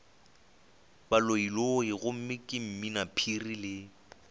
baloiloi gomme ke mminaphiri le